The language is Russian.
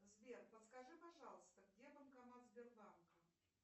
сбер подскажи пожалуйста где банкомат сбербанка